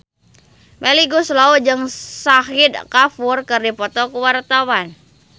Melly Goeslaw jeung Shahid Kapoor keur dipoto ku wartawan